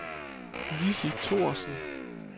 Lissi Thorsen